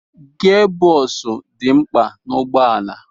Gia bọksụ dị mkpa n'ụgbọala.